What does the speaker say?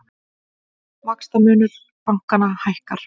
Vaxtamunur bankanna hækkar